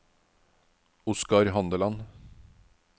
Oscar Handeland